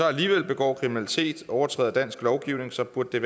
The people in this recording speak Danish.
alligevel begår kriminalitet og overtræder dansk lovgivning så burde